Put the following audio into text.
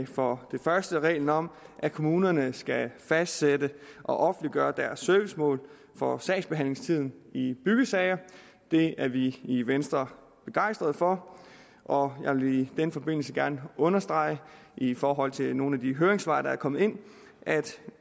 for det første en regel om at kommunerne skal fastsætte og offentliggøre deres servicemål for sagsbehandlingstiden i byggesager det er vi i venstre begejstrede for og jeg vil i den forbindelse gerne understrege i forhold til nogle af de høringssvar der er kommet ind at